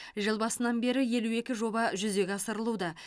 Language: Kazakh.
жыл басынан бері елу екі жоба жүзеге асырылуда